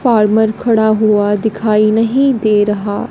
farmer खड़ा हुआ दिखाई नहीं दे रहा--